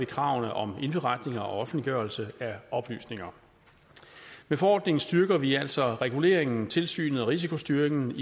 kravene om indberetning og offentliggørelse af oplysninger med forordningen styrker vi altså reguleringen tilsynet og risikostyringen